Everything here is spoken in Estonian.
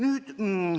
Ehk püsib.